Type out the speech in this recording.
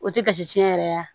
O tɛ gasi tiɲɛ yɛrɛ ye